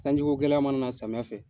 Sanjiko gɛlɛya mana na samiya fɛ.